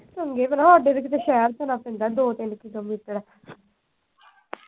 ਚੰਗੇ ਭਲਾ ਸਾਡੇ ਤੇ ਕੀਤੇ ਸ਼ਹਿਰ